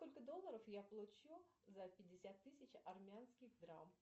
сколько долларов я получу за пятьдесят тысяч армянских драм